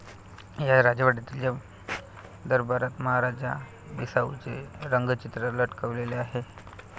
या राजवाड्यातील दरबारात महाराजा बिसाऊंचे रंगचित्र लटकवलेले आहे.